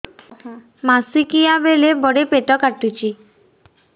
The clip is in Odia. ମାସିକିଆ ବେଳେ ବଡେ ପେଟ କାଟୁଚି